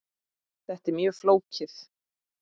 Þetta er mjög flókið.